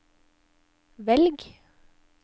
velg